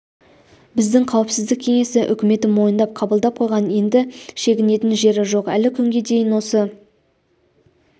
біздің қауіпсіздік кеңесі үкімет мойындап қабылдап қойған енді шегінетін жері жоқ әлі күнге дейін осы